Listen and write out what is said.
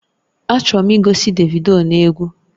Achọrọ m igosi Davido n'egwu